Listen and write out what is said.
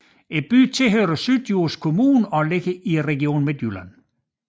Byen hører til Syddjurs Kommune og ligger i Region Midtjylland